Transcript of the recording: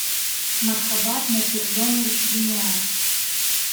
мархабат носиржонович юняев